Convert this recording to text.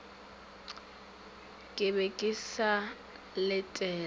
ke be ke sa letela